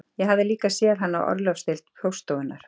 Ég hafði líka séð hann á orlofsdeild póststofunnar